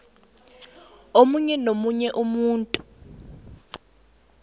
omunye nomunye umuntu